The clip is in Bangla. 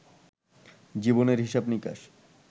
জীবনের হিসাব-নিকাশ